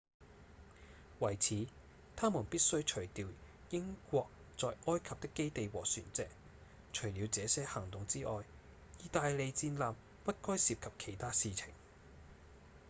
為此他們必須除掉英國在埃及的基地和船隻除了這些行動之外義大利戰艦不該涉及其他事情